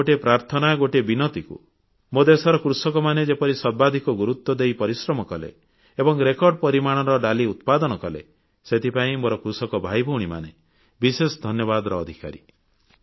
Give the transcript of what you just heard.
ମୋର ଗୋଟିଏ ପ୍ରାର୍ଥନା ଗୋଟିଏ ବିନତିକୁ ମୋ ଦେଶର କୃଷକମାନେ ଯେପରି ସର୍ବାଧିକ ଗୁରୁତ୍ୱ ଦେଇ ପରିଶ୍ରମ କଲେ ଏବଂ ରେକର୍ଡ ପରିମାଣର ଡାଲି ଉତ୍ପାଦନ କଲେ ସେଥିପାଇଁ ମୋର କୃଷକ ଭାଇଭଉଣୀମାନେ ବିଶେଷ ଧନ୍ୟବାଦର ଅଧିକାରୀ